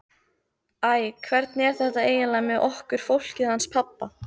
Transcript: Æ, hvernig er þetta eiginlega með okkur fólkið hans pabba?